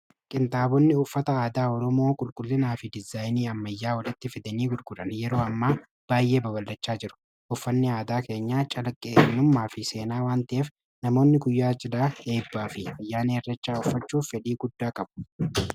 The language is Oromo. qintaabonni uffata aadaa oromoo qulqullinaa fi dizaayinii ammayyaa wolitti fidanii gurguran yeroo amma baay'ee babalachaa jiru uffanni aadaa keenya calqe inummaa fi seenaa wantaeef namoonni guyyaa jilaa eebbaa fi ayyaan errachaa uffachuuf fedii guddaa qabu